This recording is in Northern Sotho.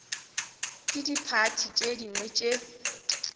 ke diphathi tše dingwe tše